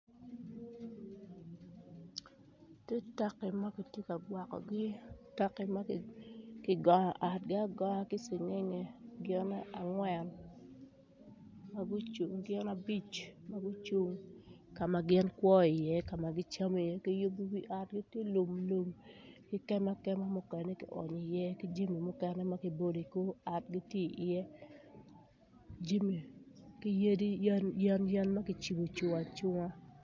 Tye taki ma gitye ka gwokkogi, taki gongo otgi agonga ki cingengnge gin agwen ma gucung gin abic ka ma gikwo iye ka ma gicamo iye ki yubu wi otgi ti lum ki kema kema ki onyo iye ki jami mukene ma ki bolo i kor ot gitye iye jami ki yadi ,yen yen mogo ma kicibo ocung acunga